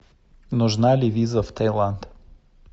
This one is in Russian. нужна ли виза в таиланд